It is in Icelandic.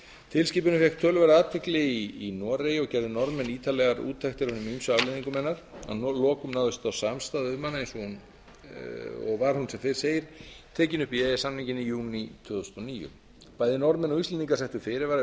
tilskipunin fékk töluverða athygli í noregi og gerðu norðmenn ítarlegar úttektir á hinum ýmsu afleiðingum hennar að lokum náðist þó samstaða um hana og var hún eins og áður segir tekin upp í e e s samninginn níunda júní tvö þúsund og níu bæði norðmenn og íslendingar settu fyrirvara við